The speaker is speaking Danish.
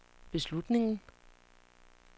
beslutningen